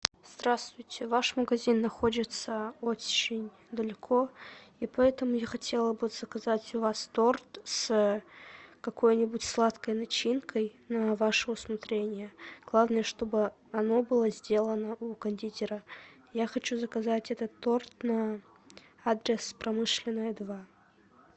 здравствуйте ваш магазин находится очень далеко и поэтому я хотела бы заказать у вас торт с какой нибудь сладкой начинкой на ваше усмотрение главное чтобы оно было сделано у кондитера я хочу заказать этот торт на адрес промышленная два